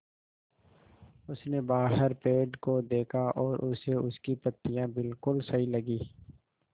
उसने बाहर पेड़ को देखा और उसे उसकी पत्तियाँ बिलकुल सही लगीं